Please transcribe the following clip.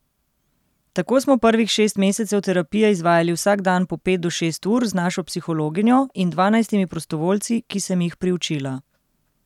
Tako smo prvih šest mesecev terapije izvajali vsak dan po pet do šest ur z našo psihologinjo in dvanajstimi prostovoljci, ki sem jih priučila.